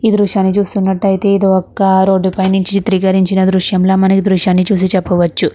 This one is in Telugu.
ఈ దృశ్యాన్ని చూస్తునట్టు అయితే ఇది ఒక రోడ్ పైన నుండి తీసిన దృశ్యం అని మనం ఈ దృశ్యాన్ని చూసి చెప్పవచ్చు.